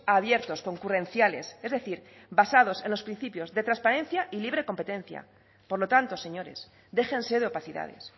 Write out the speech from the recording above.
abiertos concurrenciales es decir basados en los principios de transparencia y libre competencia por lo tanto señores déjense de opacidades